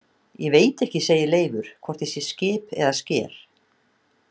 Ég veit ekki, segir Leifur, „hvort ég sé skip eða sker“